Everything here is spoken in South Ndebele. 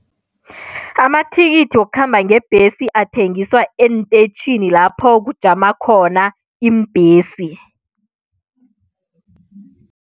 Amathikithi wokukhamba ngebhesi athengiswa eenteyitjhini lapho kujama khona iimbhesi.